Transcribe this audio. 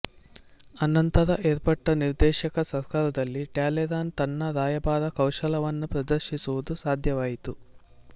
ಅನಂತರ ಏರ್ಪಟ್ಟ ನಿರ್ದೇಶಕ ಸರ್ಕಾರದಲ್ಲಿ ಟ್ಯಾಲೇರಾನ್ ತನ್ನ ರಾಯಭಾರಕೌಶಲವನ್ನು ಪ್ರದರ್ಶಿಸುವುದು ಸಾಧ್ಯವಾಯಿತು